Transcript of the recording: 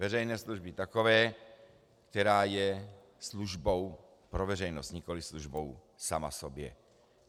Veřejné služby takové, která je službou pro veřejnost, nikoliv službou sama sobě.